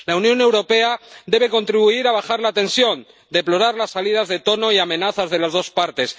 La Unión Europea debe contribuir a bajar la tensión, deplorar las salidas de tono y amenazas de las dos partes.